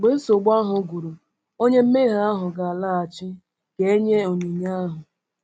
Mgbe nsogbu ahụ gwụrụ, onye mmehie ahụ ga-alaghachi ka e nye onyinye ahụ.